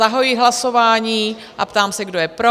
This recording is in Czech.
Zahajuji hlasování a ptám se, kdo je pro?